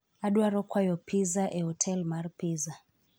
Adwaro kwayo pizza e otel mar pizza